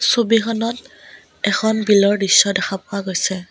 ছবিখনত এখন বিলৰ দৃশ্য দেখা পোৱা গৈছে।